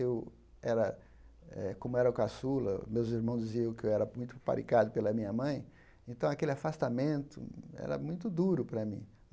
Eu era eh, como era o caçula, meus irmãos diziam que eu era muito paparicado pela minha mãe, então aquele afastamento era muito duro para mim.